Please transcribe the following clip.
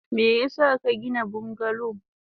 Meyasa kagina bungalow?